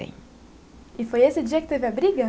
E foi esse dia que teve a briga?